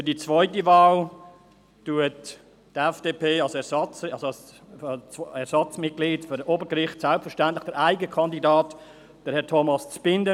Für die zweite Wahl als Ersatzmitglied für das Obergericht unterstützt die FDP selbstverständlich den eigenen Kandidaten, Herrn Thomas Zbinden.